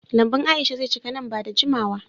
Lambun Aisha ze cika nan ba da jimawa.